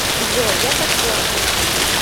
джой я пошла